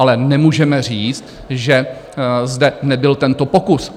Ale nemůžeme říct, že zde nebyl tento pokus.